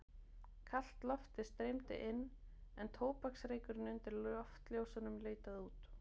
Kalt loftið streymdi inn en tóbaksreykurinn undir loftljósunum leitaði út.